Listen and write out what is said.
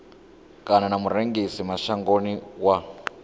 kana na murengisi mashangoni wa